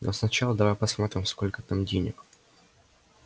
но сначала давай посмотрим сколько там денег